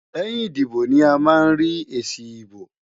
Lẹ́yìn ìdìbò ni a máa ń rí èsì ìbò.